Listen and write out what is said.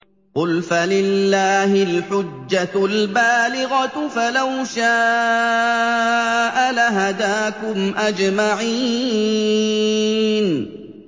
قُلْ فَلِلَّهِ الْحُجَّةُ الْبَالِغَةُ ۖ فَلَوْ شَاءَ لَهَدَاكُمْ أَجْمَعِينَ